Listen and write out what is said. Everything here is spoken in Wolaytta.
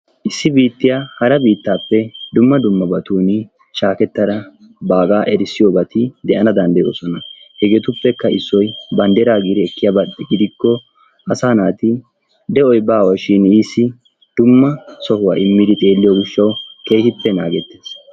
Issi biittiya hara biittaappe shaakettara babaa erissiyobati de'ana danddayoosona. Hegeetuppekka issoy banddiraa giidi ekkiyaba gidikko asaa naati de'oy baawashin issi keehippe naagettees.